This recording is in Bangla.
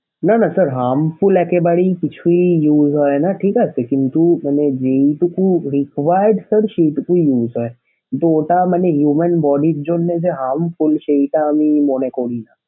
না না sir harmful একেবারেই কিছুই use হয়না ঠিক আছে কিন্তু মানে যেইটুকু required sir সেইটুকু use হয় কিন্তু ওটা মানে human body র জন্যে যে harmful সেইটা আমি মনে করিনা।